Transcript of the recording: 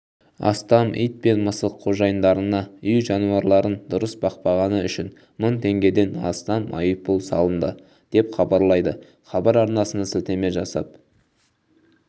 астам ит пен мысық қожайындарына үй жануарларын дұрыс бақпағаны үшін мың теңгеден астам айыппұл салынды деп хабарлайды хабар арнасына сілтеме жасап